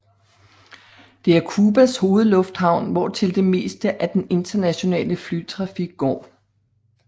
Det er Cubas hovedlufthavn hvortil det meste af den internationale flytrafik går